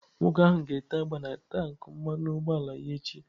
Nwoke ahụ ga-ete agba na tankị mmanu ugboala ya echi.